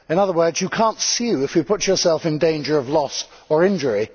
In other words, you cannot sue if you put yourself in danger of loss or injury.